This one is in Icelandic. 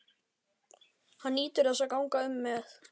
Hann nýtur þess að ganga um með